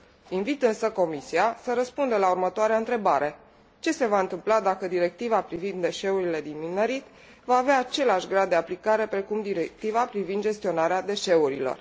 Invit însă Comisia să răspundă la următoarea întrebare ce se va întâmpla dacă Directiva privind deșeurile din minerit va avea același grad de aplicare precum Directiva privind gestionarea deșeurilor?